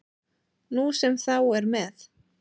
Nú sem þá er með